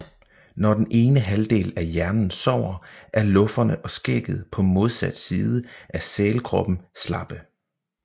Når den ene halvdel af hjernen sover er lufferne og skægget på modsat side af sælkroppen slappe